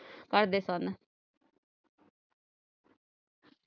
ਕਰਦੇ ਸਨ